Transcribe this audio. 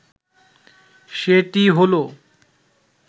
সেটি হলো,